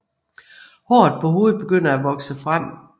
Håret på hovedet begynder at vokse frem